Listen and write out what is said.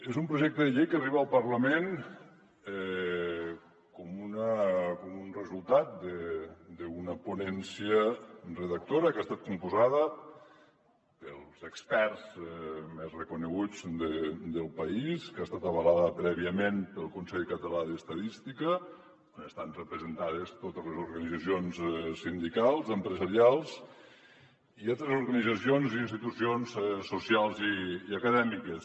és un projecte de llei que arriba al parlament com un resultat d’una ponència redactora que ha estat composada pels experts més reconeguts del país que ha estat avalada prèviament pel consell català d’estadística on estan representades totes les organitzacions sindicals empresarials i altres organitzacions i institucions socials i acadèmiques